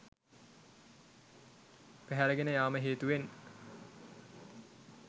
පැහැරගෙන යාම හේතුවෙන්